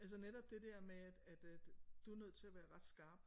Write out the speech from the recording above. Altså netop det der med at at du er nødt til at være ret skarp